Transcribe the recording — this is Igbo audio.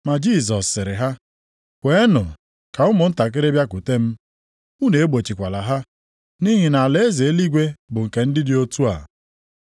Ma Jisọs sịrị ha, “Kweenụ ka ụmụntakịrị bịakwute m, unu egbochikwala ha. Nʼihi na alaeze eluigwe bụ nke ndị dị otu a.”